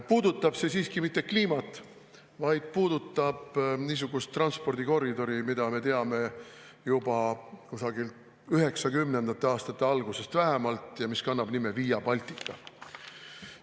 Puudutab see siiski mitte kliimat, vaid niisugust transpordikoridori, mida me teame juba kusagil 1990. aastate algusest vähemalt ja mis kannab nime Via Baltica.